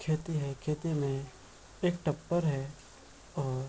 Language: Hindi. खेती है खेती मे एक टप्पड़ है और --